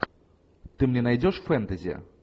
ты мне найдешь фэнтези